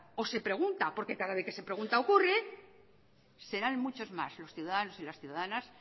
o se pregunta porque cada vez que se pregunta ocurre serán muchos más los ciudadanos y las ciudadanas